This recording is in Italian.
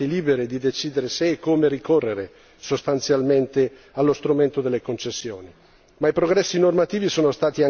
Le amministrazioni pubbliche rimangono, infatti, libere di decidere se e come ricorrere sostanzialmente allo strumento delle concessioni.